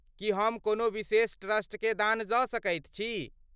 की हम कोनो विशेष ट्रस्टकेँ दान दऽ सकैत छी?